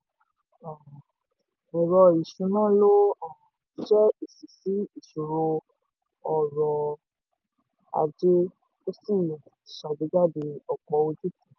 ìkànnì ìmọ̀ um ẹ̀rọ ìṣúná ló um jẹ́ èsì sí ìṣòro ọrọ̀-ajé ó sì ṣàgbéjáde ọ̀pọ̀ ojútùú.